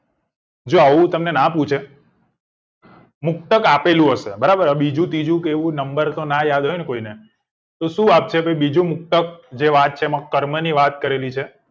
જો આવું તમને નાં પૂછે મુક્તક આપેલું હશે બરાબર હવે બીજું ત્રીજું કે એવું નમ્બર તો નાં જ યાદ હોય ને તમને તો શું આપશે કોઈ બીજું મુક્તક જે વાત છે એમાં કર્મ ની વાત છે